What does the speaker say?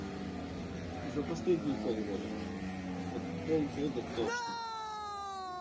за последние полгода вот полгода точно